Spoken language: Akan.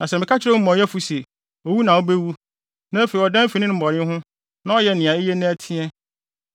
Na sɛ meka kyerɛ omumɔyɛfo se, ‘Owu na wubewu,’ na afei ɔdan fi ne nnebɔne ho na ɔyɛ nea eye na ɛteɛ,